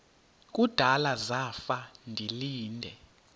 kudala zafa ndilinde